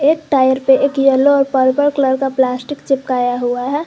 Tyre पे एक yellow और पर्पल कलर का प्लास्टिक चिपकाया हुआ है।